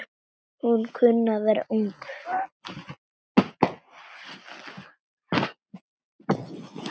Hún kunni að vera ung.